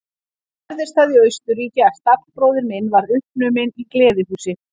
Þá gerðist það í Austurríki að stallbróðir minn varð uppnuminn í gleðihúsi.